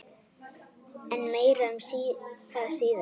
En meira um það síðar.